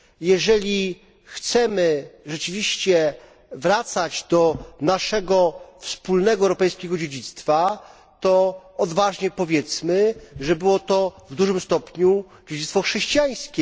Jeżeli chcemy rzeczywiście wracać do naszego wspólnego europejskiego dziedzictwa, to odważnie powiedzmy, że było to w dużym stopniu dziedzictwo chrześcijańskie.